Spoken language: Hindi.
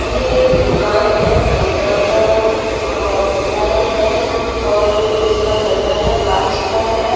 ये एक दूकान है दूकान का रंग अ पीला रंग है और उसका दरवाजा काँच का है।